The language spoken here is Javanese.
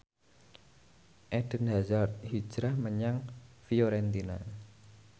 Eden Hazard hijrah menyang Fiorentina